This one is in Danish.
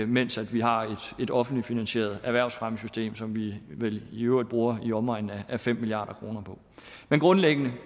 mens vi har et offentligt finansieret erhvervsfremmesystem som vi vel i øvrigt bruger i omegnen af fem milliard kroner på men grundlæggende